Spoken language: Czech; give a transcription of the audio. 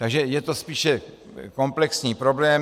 Takže je to spíše komplexní problém.